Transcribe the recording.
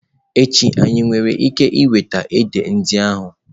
Echi, anyị nwere ike iweta édè ndị ahụ?